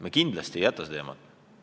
Me kindlasti ei jäta seda teemat!